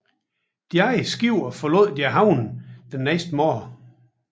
De andre skibe forlod deres havne den næste morgen